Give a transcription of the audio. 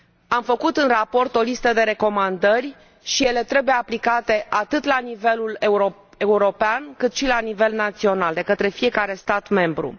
Am făcut în raport o listă de recomandări și ele trebuie aplicate atât la nivel european, cât și la nivel național, de către fiecare stat membru.